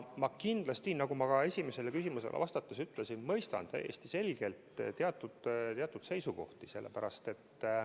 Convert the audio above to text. Ja nagu ma esimesele küsimusele vastates ütlesin, ma mõistan täiesti selgelt teatud seisukohti.